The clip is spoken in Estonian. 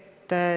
Hea minister!